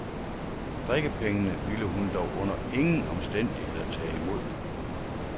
Drikkepengene ville hun dog under ingen omstændigheder tage imod.